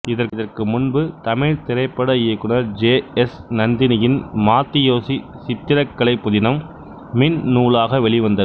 இதற்கு முன்பு தமிழ் திரைப்பட இயக்குநர் ஜே எஸ் நந்தினியின் மாத்தி யோசி சித்திரக்கலை புதினம் மின்நூலாக வெளிவந்தது